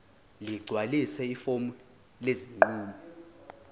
ligcwalise ifomu lesinqumo